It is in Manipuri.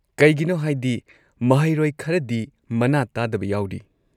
ꯀꯩꯒꯤꯅꯣ ꯍꯥꯏꯗꯤ ꯃꯍꯩꯔꯣꯏ ꯈꯔꯗꯤ ꯃꯅꯥ ꯇꯥꯗꯕ ꯌꯥꯎꯔꯤ꯫